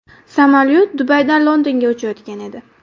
Samolyot Dubaydan Londonga uchayotgan edi.